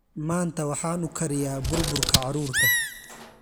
Maanta, waxaan u kariyaa bur burka carruurta.